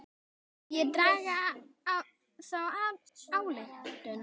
Má ekki draga þá ályktun?